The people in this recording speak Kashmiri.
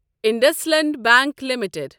IndusInd bank limited